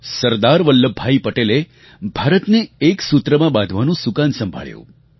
સરદાર વલ્લભભાઈ પટેલે ભારતને એક સૂત્રમાં બાંધવાનું સુકાન સંભાળ્યું